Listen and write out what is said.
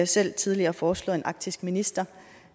selv tidligere foreslået en arktisk minister